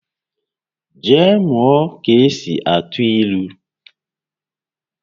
Jee mụọ ka-esi atụ ílú!